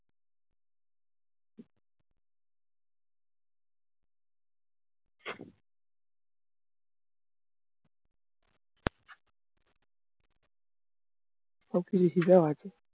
সব কিছু শিখা ও আছে